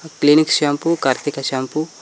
clinic shampoo Karthika shampoo --